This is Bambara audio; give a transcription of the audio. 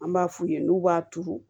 An b'a f'u ye n'u b'a turu